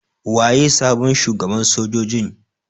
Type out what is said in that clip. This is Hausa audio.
Waye sabon shugaban sojojin?